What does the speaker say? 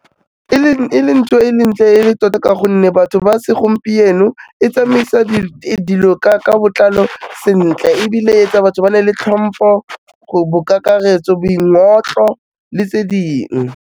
E le ntho e leng ntle e le tota ka gonne batho ba segompieno, e tsamaisa dilo ka botlalo sentle ebile e etsa batho ba nne le hlompho go bo kakaretso, boingotlo le tse dingwe.